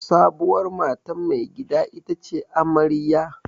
Sabuwar matan maigida ita ce amarya.